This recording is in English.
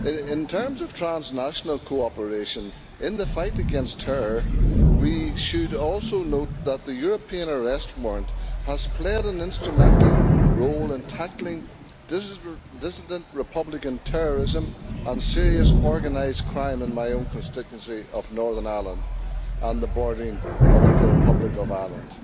In terms of transnational cooperation in the fight against terror we should also note that the European Arrest Warrant has played an instrumental role in tackling dissident Republican terrorism and serious organised crime in my own constituency of Northern Ireland and the border with the Republic of Ireland.